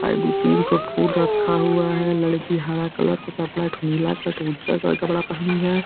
आय दू-तीन ठू फूल रखा हुआ है। लड़की हरा कलर का कपड़ा एक ठू नीला कपड़ा पहनी है।